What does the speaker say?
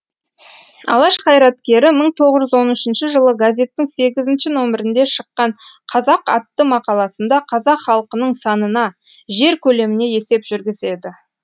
алаш қайраткері мың тоғыз жүз он үшінші жылы газеттің сегізінші нөмірінде шыққан қазақ атты мақаласында қазақ халқының санына жер көлеміне есеп жүргізеді